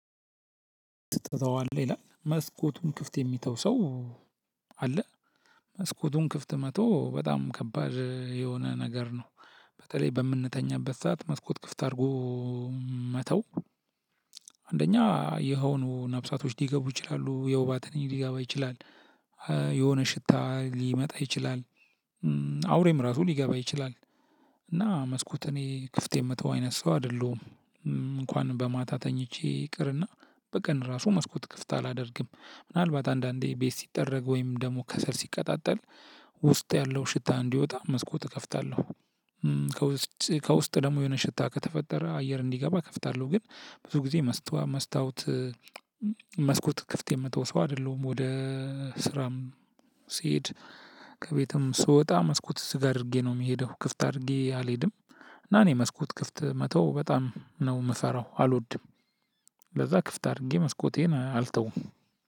ትተዋለህ ይላል መስኮቱን ክፍት የሚተው ሰውው አለ መስኮቱን ክፍት መተው በጣም ከባድ የሆነ ነገር ነው። በተለይ በምንተኛበት ሰዓት መስኮት ክፍት አድርጎ መተው። አንደኛ የሆኑ ነብሳቶች ሊገቡ ይችላሉ የውባ ትንኝ ሊገባ ይችላል። የሆነ ሽታ ሊመጣ ይችላል። እ እ አውሬም ራሱ ሊገባ ይችላል። እና መስኮት እኔ ክፍት የምተው አይነት ሰው አይደለሁም። እ እንኳን በማታ ተኝቼ ይቅርና በቀን ራሱ መስኮት ክፍት አላደርግም። ምናልባት አንዳንዴ ቤት ሲጠረግ ወይም ደግሞ ከሰል ሲቀጣጠል ውስጥ ያለው ሽታ እንዲወጣ መስኮት እከፍታለሁ። እም ከውስጥ ከውስጥ ደግሞ የሆነ ሽታ ከተፈጠረ አየር እንዲገባ እከፍታለሁ። ግን ብዙ ጊዜ መስታወት እም መስኮት ክፍት የምተው ሰው አድለሁም። ወደ ስራም ሲሄድ ከቤትም ስወጣ መስኮት ዝግ አድርጌ ነው የምሄደው ክፍት አድርጌ አልሄድም። እና እኔ መስኮት ክፍት መተው በጣም ነው ምፈራው አልወድም ለዛ ክፍት አድርጌ መስኮቴን አልተውም።